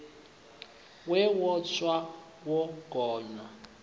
we wo tsa wo gonya